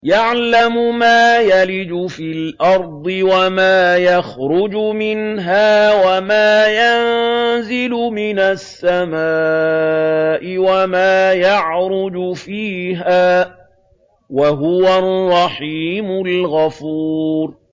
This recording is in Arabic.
يَعْلَمُ مَا يَلِجُ فِي الْأَرْضِ وَمَا يَخْرُجُ مِنْهَا وَمَا يَنزِلُ مِنَ السَّمَاءِ وَمَا يَعْرُجُ فِيهَا ۚ وَهُوَ الرَّحِيمُ الْغَفُورُ